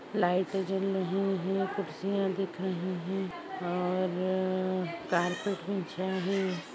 Light जल रही है कूर्सीया दिख रही है और कार्पट बिछाया है।